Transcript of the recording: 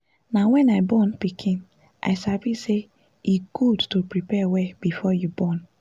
na wen i born pikin i sabi say e good to prepare well before you born